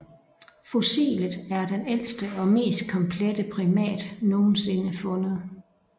Fossilet er den ældste og mest komplette primat nogensinde fundet